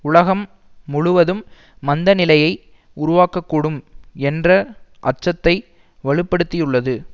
உலகம் முழுவதும் மந்த நிலையை உருவாக்க கூடும் என்ற அச்சத்தை வலுப்படுத்தியுள்ளது